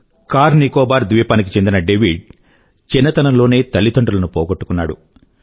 కార్నికోబార్ ద్వీపానికి చెందిన డేవిడ్ చిన్నతనంలోనే తల్లిదండ్రులను పోగొట్టుకున్నాడు